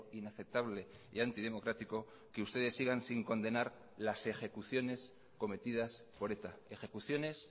inaceptable y antidemocrático que ustedes sigan sin condenar las ejecuciones cometidas por eta ejecuciones